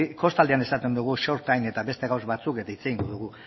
kostaldean esaten dugu eta beste gauza batzuk eta hitz egingo du